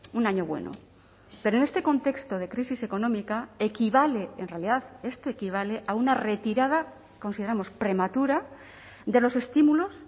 un año bueno pero en este contexto de crisis económica equivale en realidad este equivale a una retirada consideramos prematura de los estímulos